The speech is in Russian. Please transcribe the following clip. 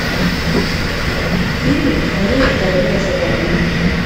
фильмик мария королева шотландии